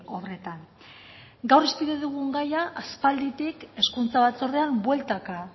obretan gaur hizpide dugun gaia aspalditik hezkuntza batzordean bueltaka